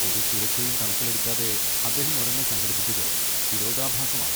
ഒരു സുരക്ഷയും കണക്കിലെടുക്കാതെ അദ്ദേഹം ഒരെണ്ണം സംഘടിപ്പിച്ചത് വിരോധാഭാസമാണ്.